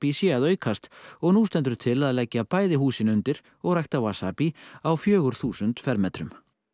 sé að aukast og nú stendur til að leggja bæði húsin undir og rækta wasabi á fjögur þúsund fermetrum